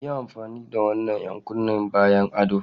Yi amfani da wannan 'yan kunne bayan ado!